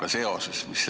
Aitäh!